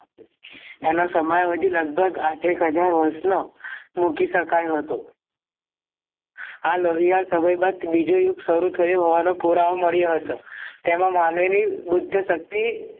આનો સમાવેધી લગભગ આઠ એક હાજર વર્ષનો મૂકી શકાયો હતો આ લોહિયાળ સમય બાદ બીજું યુદ્ધ સારું થયું હોવાનો પુરાવો હતો તેમાં માનવીની બુદ્ધ શક્તિ